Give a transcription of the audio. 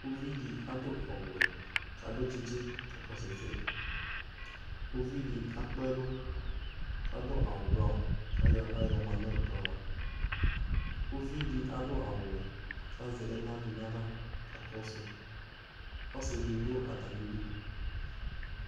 uvidi adu awuwɛ kadu tsitsi kakɔsu ɛsɛ kuvidi akpɛlu kadu awu brown kayo aɣla yɔmanu ekplɔva kuvidi adu awuwɛ kazɛ ɛnadi naɣla kakɔsu ɔsidi du atamidu